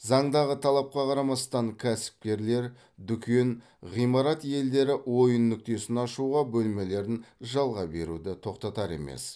заңдағы талапқа қарамастан кәсіпкерлер дүкен ғимарат иелері ойын нүктесін ашуға бөлмелерін жалға беруді тоқтатар емес